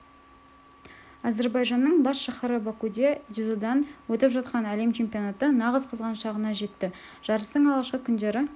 әзірбайжанның бас шаһары бакуде дзюдодан өтіп жатқан әлем чемпионаты нағыз қызған шағына жетті жарыстың алғашқы күндері